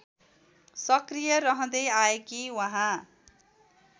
सक्रिय रहँदै आएकी उहाँ